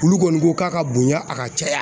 Olu kɔni ko k'a ka bonya a ka caya.